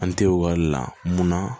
An te ekɔli le la mun na